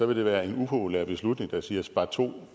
vil det være en upopulær beslutning der siger sparto